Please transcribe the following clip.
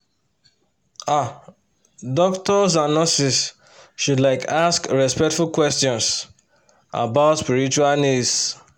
ah doctors and nurses should like ask respectful questions about spiritual needs